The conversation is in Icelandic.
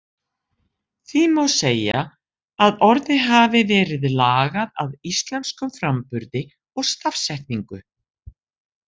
Því má segja að orðið hafi verið lagað að íslenskum framburði og stafsetningu.